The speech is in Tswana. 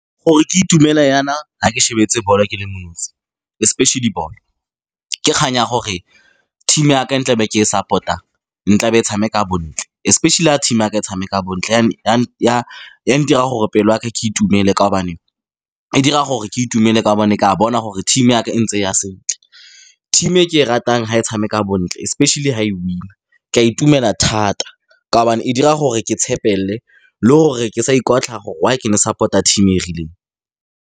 Gore ke itumele jaana, fa ke shebeletse ball-o ke le mo nosi, especially ball-o, ke kgang ya gore team ya ka e tlabe ke e support-ang, e tlabe e tshameka bontle, especially fa team ya ka e tshameka bontle, ya ntira gore pelo yaka ke itumele ka gobane e dira gore ke itumele ka gobane ke a bona gore team ya ka e ntse e ya sentle. Team e ke e ratang, fa e tshameka bontle, especially fa e winner-a, ka itumela thata ka gobane e dira gore ke tshepele le gore ke sa ikotlhaya gore why ke ne support-a team e e rileng.